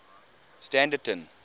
standerton